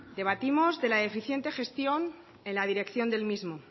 debatimos de la deficiente gestión en la dirección del mismo